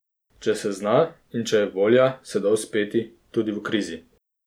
Če se zna in če je volja, se da uspeti, tudi v krizi.